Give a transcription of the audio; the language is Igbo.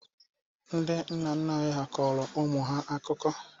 Ndị nna nna anyị kọrọ ụmụ ha akụkọ.